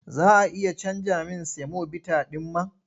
Za a iya canja min semobita ɗin man?